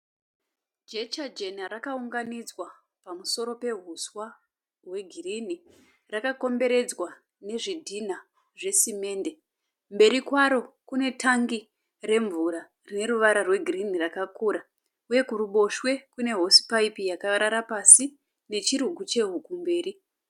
Jecha jena rakaunganidzwa pamusoro pehuswa hwegirinhi. Rakakomberedzwa nezvidhinha zvesemende. Mberi kwaro kune tangi remvura rine ruvara rwegirinhi rakakura uye kuruboshwe kune hosipaipi yakarara pasi nechirugu chehuku mberi.